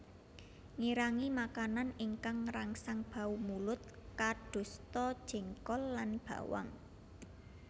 Ngirangi makanan ingkang ngrangsang bau mulut kadosta jengkol lan bawang